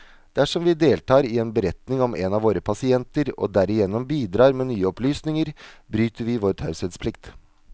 Dersom vi deltar i en beretning om en av våre pasienter, og derigjennom bidrar med nye opplysninger, bryter vi vår taushetsplikt.